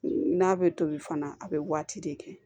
N'a bɛ tobi fana a bɛ waati de kɛ